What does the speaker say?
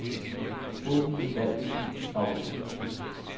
Åbn den valgte fil i favoritter.